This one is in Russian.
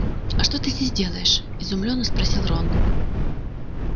а что ты здесь делаешь изумлённо спросил рон